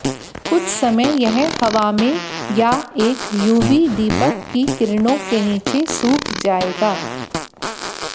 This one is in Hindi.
कुछ समय यह हवा में या एक यूवी दीपक की किरणों के नीचे सूख जाएगा